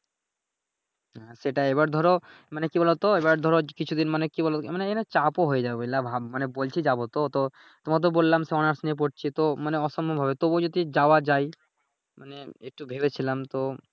হ্যাঁ সেটাই এবার ধরো মানে কি বলতো এইবার ধরো কিছুদিন মানে কি বলো মানে চাপ ও হয়ে যায় বুঝলা ভাব মানে বলছি যাবো তো, তোমাকে তো বললাম সে অনার্স নিয়ে পড়ছি তো মানে অসম্ভব হবে তবুও যদি যাওয়া যায় মানে একটু ভেবেছিলাম তো।